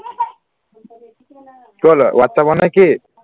whatsapp নে কি